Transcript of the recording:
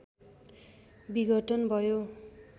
विघटन भयो